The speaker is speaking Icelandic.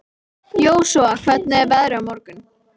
Jósúa, hvernig er veðrið á morgun?